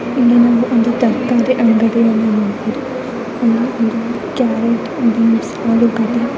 ಇದೊಂದು ತರಕಾರಿ ಅಂಗಡಿ ಕ್ಯಾರಟ್ ಮತ್ತು --